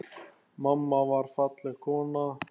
Mamma var falleg kona.